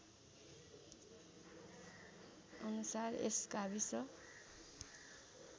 अनुसार यस गाविस